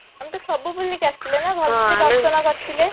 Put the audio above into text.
ଆମେ ତ ସବୁ ବୁଲିକି ଆସିଥିଲେ ନା ଦର୍ଶନ କରିଥିଲେ